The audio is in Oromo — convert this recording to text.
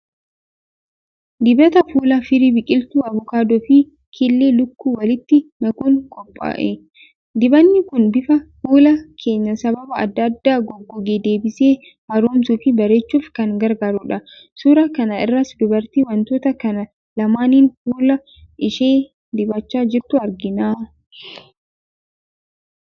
Dibata fuulaa firii biqiltuu avukaadoo fi killee lukkuu walitti makuun qophaa'e. Dibanni kun bifa fuula keenyaa sababa adda addaan goggoge deebisee haaromsuufi bareechuuf kan gargaarudha. Suuraa kana irraas dubartii wantoota kana lamaaniin fuula ishee dibachaa jirtu argina.